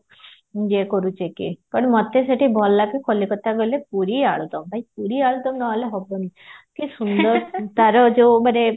ଇଏ କରୁଚେ କି ମତେ ସେଠି ଭଲ ଲାଗେ କଲିକତାରେ ରହିଲେ ପୁରୀ ଆଲୁଦମ୍ ଭାଇ ପୁରୀ ଆଳୁଦମ୍ ନହେଲେ ହବନି କି ସୁନ୍ଦର ତାର ଯୋଉମାନେ